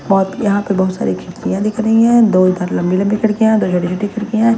बहुत- यहां पे बहुत सारी खिड़कियां लिख रही हैं दो इधर लंबी-लंबी खड़कियां हैं दो झोटी-छोटी खिड़कियां हैं।